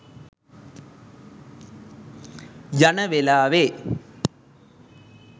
යන වෙලාවේ.